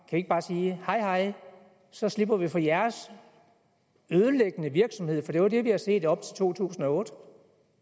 ikke bare sige hej hej så slipper vi for jeres ødelæggende virksomhed for det er jo det vi har set op til to tusind og otte